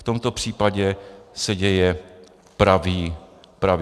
V tomto případě se děje pravý opak.